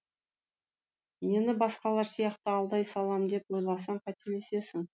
мені басқалар сияқты алдай салам деп ойласаң қателесесің